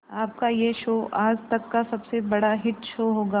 आपका यह शो आज तक का सबसे बड़ा हिट शो होगा